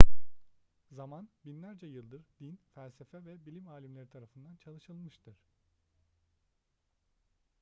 zaman binlerce yıldır din felsefe ve bilim alimleri tarafından çalışılmıştır